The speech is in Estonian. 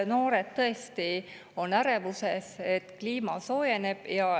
Noored on tõesti ärevuses seetõttu, et kliima soojeneb.